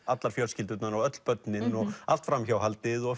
allar fjölskyldurnar og öll börnin og allt framhjáhaldið og